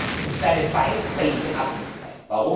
Es ist eine beiderseitige Abhängigkeit.